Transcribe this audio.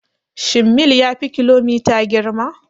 Shin mil ya fi kilomita girma?